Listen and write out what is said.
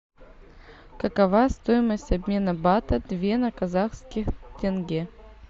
какова стоимость обмена бата две на казахский тенге